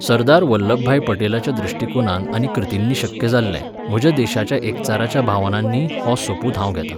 सरदार वल्लभभाई पटेलाच्या दृश्टीकोनान आनी कृतींनी शक्य जाल्लें, म्हज्या देशाच्या एकचाराच्या भावनांनी हो सोपूत हांव घेता.